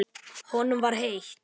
Honum var heitt.